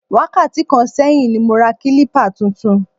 Wákàtí kan sẹ́yìn ni mo ra kílípà tuntun